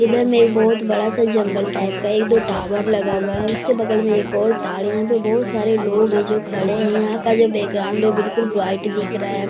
इधर में एक बहुत बड़ा सा जंगल टाइप का एक दो टावर लगा हुआ है उसके बगल में एक और ताड़ यहाँ पे बहुत सारे लोग हैं जो खड़े हैं यहाँ का जो है बिल्कुल वाइट दिख रहा है।